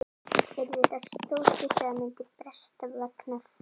Yrði það stórslys ef að það myndi bresta vegna þessa?